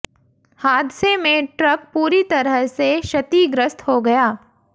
हादसे में ट्रक पूरी तरह से क्षतिग्रस्त हो गया